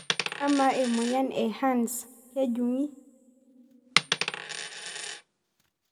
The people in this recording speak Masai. Amaa emoyian e (HERNS)kejungi?